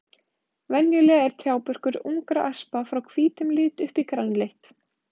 Venjulega er trjábörkur ungra aspa frá hvítum lit upp í grænleitt.